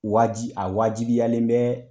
Waaji a wajibiyalen bɛ